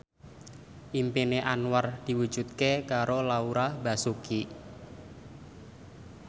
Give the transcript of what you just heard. impine Anwar diwujudke karo Laura Basuki